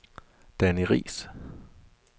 Danny Riis